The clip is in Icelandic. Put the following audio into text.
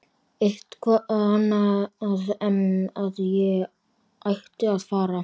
Eitthvað annað en að ég ætti að fara.